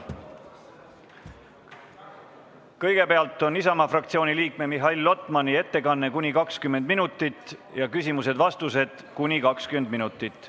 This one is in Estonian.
Kõigepealt on Isamaa fraktsiooni liikme Mihhail Lotmani ettekanne kuni 20 minutit ja küsimused-vastused kuni 20 minutit.